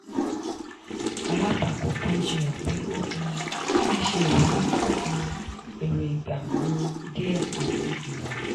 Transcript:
alátakò kan jiyàn pé ó um le ṣe ìwúrí fún um èrò ìgbà um díè àti ìwà.